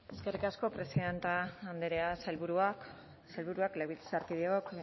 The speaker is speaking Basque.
eskerrik asko presidente andrea sailburuak legebiltzarkideok